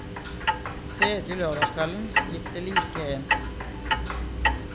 Tredje lørdagskvelden gikk det like ens.